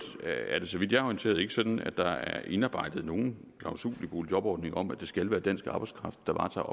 er det så vidt jeg er orienteret ikke sådan at der er indarbejdet nogen klausul i boligjobordningen om at det skal være dansk arbejdskraft der varetager